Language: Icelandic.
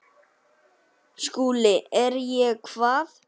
SKÚLI: Er ég hvað?